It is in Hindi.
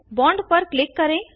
बॉन्ड पर क्लिक करें